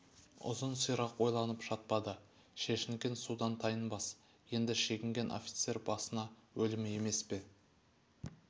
ұзын сирақ ойланып жатпады шешінген судан тайынбас енді шегінген офицер басына өлім емес пе